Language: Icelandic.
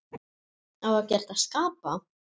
Á ekkert að skapa?